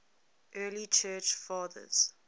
early church fathers